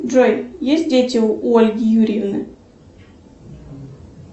джой есть дети у ольги юрьевны